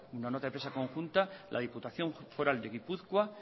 nota de prensa conjunta la diputación foral de gipuzkoa